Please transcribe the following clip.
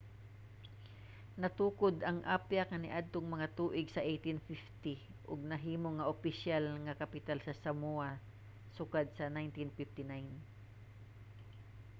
natukod ang apia kaniadtong mga tuig sa 1850 ug nahimo nga opisyal nga kapital sa samoa sukad sa 1959